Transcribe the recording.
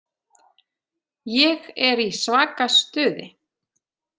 Ég er í svaka stuði.